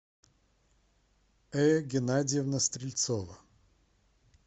эя геннадьевна стрельцова